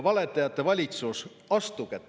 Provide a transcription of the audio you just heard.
Valetajate valitsus, astuge tagasi!